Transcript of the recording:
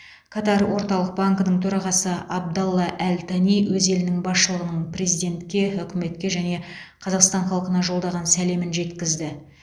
катар орталық банкінің төрағасы абдалла әл тани өз елінің басшылығының президентке үкіметке және қазақстан халқына жолдаған сәлемін жеткізді